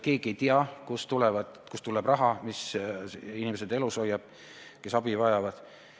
Keegi ei tea, kust tuleb raha, mis hoiab elus inimesed, kes abi vajavad.